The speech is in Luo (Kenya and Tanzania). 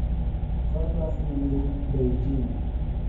kor lwasi ni ndi beijing